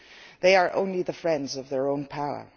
They are only the friends of their own power.